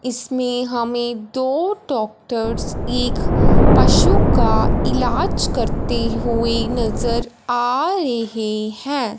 इसमें हमें दो डॉक्टर एक पशु ईलाज करते हुए नजर आ रहे हैं।